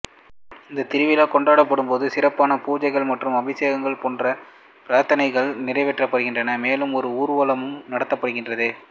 இந்தத்திருவிழா கொண்டாடும் பொழுது சிறப்பான பூஜைகள் மற்றும் அபிஷேகம் போன்ற பிரார்த்தனைகள் நிறைவேற்றப்படுகின்றன மேலும் ஒரு ஊர்வலமும் நடத்தப்படுகிறது